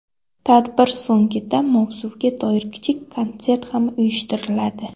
Tadbir so‘ngida mavzuga doir kichik konsert ham uyushtiriladi.